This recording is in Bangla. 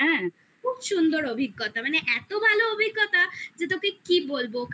খুব সুন্দর অভিজ্ঞতা মানে এত ভালো অভিজ্ঞতা তোকে কি বলবো